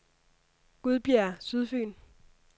Gudbjerg Sydfyn